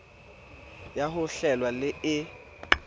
ya ho hlwela le e